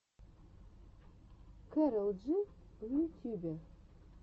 кэрол джи в ютюбе